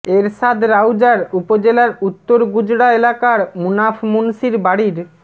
এরশাদ রাউজার উপজেলার উত্তর গুজরা এলাকার মুনাফ মুন্সির বাড়ির